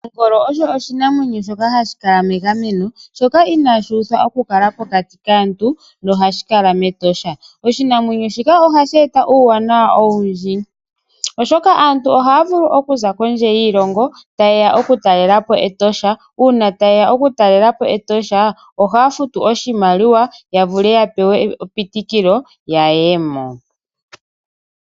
Ongolo osho oshinamwenyo shoka hashi kala megameno, shoka inaashi uthwa oku kala pokati kaantu, noha shi kala mEtosha. Oshinamwenyo shika oha shi eta uuwanawa owundji , oshoka aantu ohaa vulu oku za kondje yiilongo, ta ye ya okutalela po Etosha. Uuna ta ye ya oku talela po kEtosha, ohaa futu oshimaliwa, ya vule ya pewe epitikilo ya ye mo